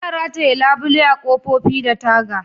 Ana rataye labule a'kofofi da taga.